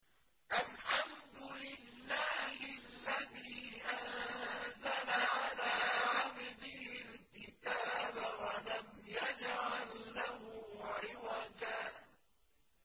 الْحَمْدُ لِلَّهِ الَّذِي أَنزَلَ عَلَىٰ عَبْدِهِ الْكِتَابَ وَلَمْ يَجْعَل لَّهُ عِوَجًا ۜ